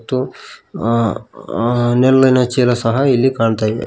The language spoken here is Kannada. ಮತ್ತು ಅ ಅ ನೆಲ್ಲಿನ ಚೀಲ ಸಹ ಇಲ್ಲಿ ಕಾಣ್ತಾ ಇವೆ.